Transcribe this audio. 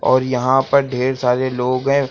और यहां पर ढेर सारे लोग हैं।